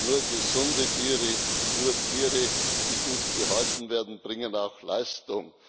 Nur gesunde Tiere, nur Tiere, die gut gehalten werden, bringen auch Leistung.